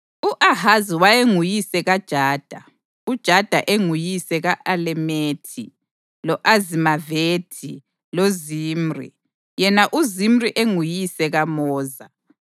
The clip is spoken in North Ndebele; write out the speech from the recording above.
U-Ahazi wayenguyise kaJada, uJada enguyise ka-Alemethi, lo-Azimavethi loZimri, yena uZimri enguyise kaMoza.